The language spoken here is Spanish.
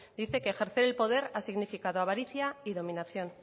dice que ejercer el poder ha significado avaricia y dominación